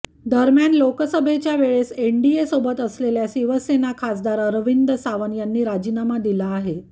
दरम्यान लोकसभेच्या वेळेस एनडीए सोबत असलेल्या शिवसेना खासदार अरविंद सावंत यांनी राजीनामा दिला आहे